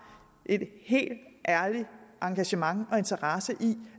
et helt ærligt engagement og en interesse i